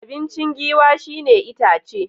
Abinci Giwa shi ne itace.